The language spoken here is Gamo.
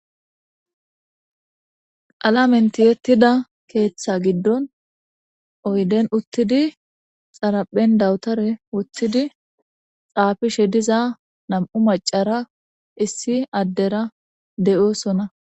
alamenti yettida keeththa giddon oyden uttidi xaraphen dawutare wothidi xaafishe diza nam7u macara issi addera de7oosona